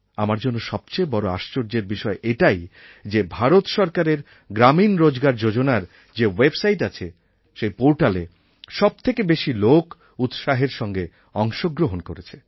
আমার জন্য সবচেয়ে বড় আশ্চর্যের বিষয় এটাই যে ভারত সরকারের গ্রামীণ রোজগার যোজনার যে ওয়েবসাইট আছে সেই পোর্টালে সবথেকে বেশি লোক উৎসাহের সঙ্গে অংশগ্রহণ করেছে